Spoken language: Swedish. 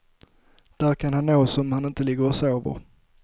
Där kan han nås om han inte ligger och sover.